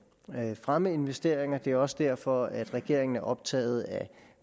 fremme investeringer det er også derfor at regeringen er optaget af